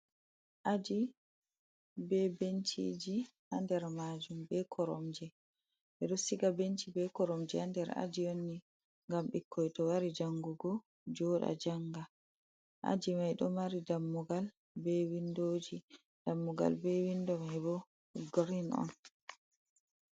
Aji ɓe ɓenciji ha nɗer majum, ɓe koromje. Ɓe ɗo siga ɓenci ɓe koromje ha nɗer aji on ni. ngam ɓikkoi to wari jangugo jooɗa janga. Aji mai ɗo mari ɗammugal ɓe winɗoji. Ɗammugal be winɗo mai ɓo girin on.